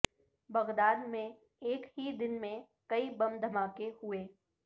Baghdad میں ایک ہی دن میں کئی بم دھماکے ہوئے